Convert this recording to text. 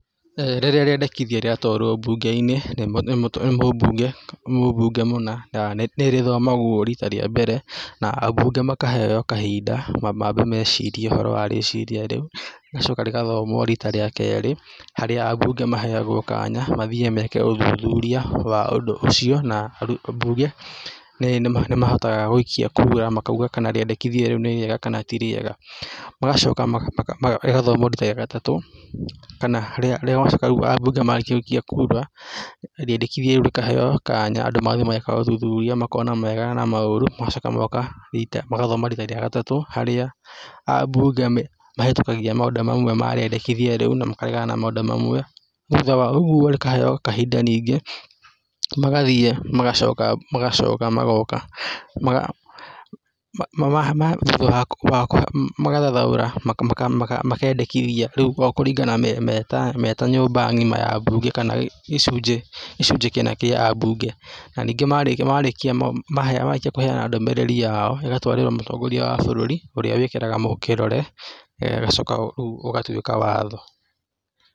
Rĩrĩa rĩendekithia rĩatwarwo mbunge-inĩ nĩ nĩ mũbunge nĩ mũbunge mũna nĩ rĩthomagwo rita rĩa mbere na ambunge makaheo kahinda mamba mambe mecirie ũhoro wa rĩciria rĩu, rĩgacoka rĩgathomwo rita rĩa kerĩ harĩa ambunge maheagwo kanya mathiĩ meke ũthuthuria wa ũndũ ũcio na na ambunge nĩ nĩmahotaga gũikia kura makauga kana rĩendekithia rĩu nĩ rĩega kana ti rĩega, magacoka ma maka rĩgathomwo rita rĩa gatatũ kana rĩga rĩgacoka aambunge marĩkia gũikia kura rĩendekithia rĩkaheo kanya andũ magathiĩ mageka ũthuthuria andũ makona mawega na maũru magacoka magoka rita magathoma rita rĩa gatatũ harĩa aambunge me mahĩtũkagia maũndũ mamwe ma rĩendekithia rĩu na makaregana na maũndũ mamwe, thutha wa ũguo rĩkaheo kahinda ningĩ magathiĩ magacoka magacoka magoka maga ma mama ma magatha magathathaũra maka maka makendĩkithia rĩu okũringana me meta meta nyũmba ngima ya mbunge kana gĩcunjĩ gĩcunjĩ kia a mbunge, na ningĩ marĩkia marĩkia ma ma marĩkia kũheana ndũmĩrĩri yao, ĩgatwarĩrwo mũtongoria wa bũrũri ũrĩa wĩkagĩra kĩrore ĩgacoka rĩũ ĩgatuĩka watho.